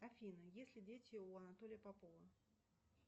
афина есть ли дети у анатолия попова